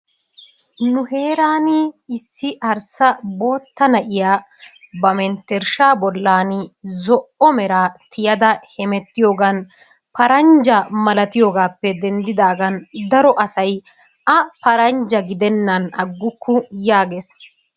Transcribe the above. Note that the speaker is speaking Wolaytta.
Nu heeran issi arssa bootta na'iyaa ba mentersha bollan zo'o meraa tiyadda hemettiyogan paranja malattiyogan daro asay a paranja gidenan agukku yaages.